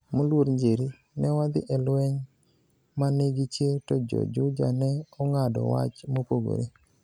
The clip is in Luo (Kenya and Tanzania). Moluor Njeri, ne wadhi e lweny ma nigi chir to jo Juja ne ong'ado wach mopogore.